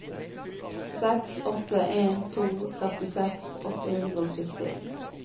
seks åtte en to førtiseks åtte hundre og sytti